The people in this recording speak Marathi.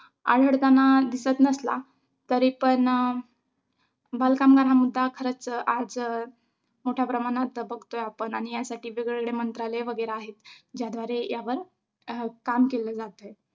आवडतांना दिसत नसला तरी पण बालकामगार हा मुद्दा खरचं आज मोठ्या प्रमाणात बघतोय आपण आणि यासाठी वेगवेगळे मंत्रालय वगैरे आहेत. ज्याद्वारे यावर काम केले जाते.